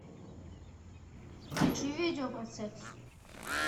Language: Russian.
включи видео про секс